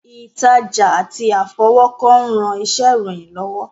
Ìtajà àti àfọwọ́kọ ń ran iṣẹ́ ìròyìn lọ́wọ́